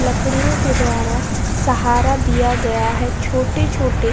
लकड़ियों के द्वारा सहारा दिया गया है। छोटे छोटे --